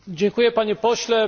Dziękuję Panie Pośle!